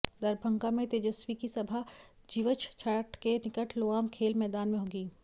दरभंगा में तेजस्वी की सभा जीवछ घाट के निकट लोआम खेल मैदान में होगी